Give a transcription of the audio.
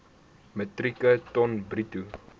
metrieke ton bruto